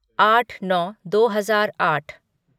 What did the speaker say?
आठ नौ दो हजार आठ